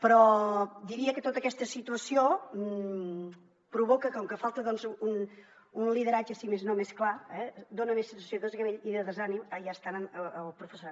però diria que tota aquesta situació provoca que com que falta un lideratge si més no més clar dona més sensació de desgavell i de desànim en el professorat